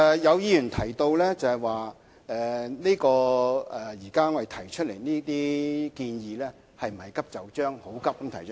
有議員提到，現時我們提出建議，是否過於急就章？